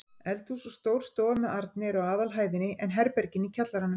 Eldhús og stór stofa með arni eru á aðalhæðinni en herbergin í kjallaranum.